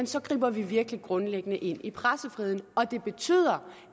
så griber vi virkelig grundlæggende ind i pressefriheden og det betyder